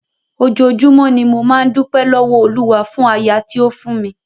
Ojoojúmọ́ ni mo máa ń dúpẹ́ lọ́wọ́ Olúwa fún aya tí ó fún mi.